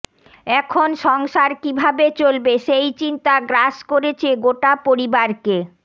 এখন সংসার কীভাবে চলবে সেই চিন্তা গ্রাস করেছে গোটা পরিবারকে